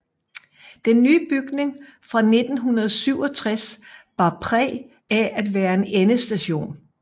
Den nye bygning fra 1967 bar præg af at være en endestation